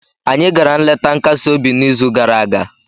Anyị gara nleta nkasi obi n'izu gara aga